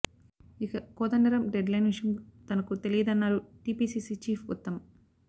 ఇక Kodandaram deadline విషయం తనకు తెలియదన్నారు టీపీసీసీ చీఫ్ ఉత్తమ్